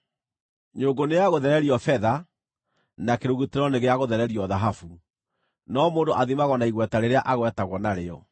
Nyũngũ nĩ ya gũthererio betha, na kĩrugutĩro nĩ gĩa gũthererio thahabu, no mũndũ athimagwo na igweta rĩrĩa agwetagwo narĩo.